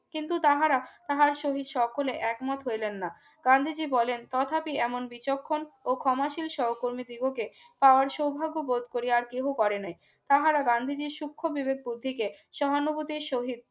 কিন্তু তাহারা তাহার শহীদ সকলের একমত হইলেন না গান্ধীজি বলেন তথাপি এমন বিচক্ষণ ও ক্ষমাশীল সহকর্মী দিগকে তার সৌভাগ্যবোধ করিয়া আর কেহ করে নাই তারা গান্ধীজীর সুখ্য বিবেক বুদ্ধি কে সহানুভূতির সহিত